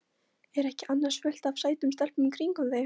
Er ekki annars fullt af sætum stelpum í kringum þig?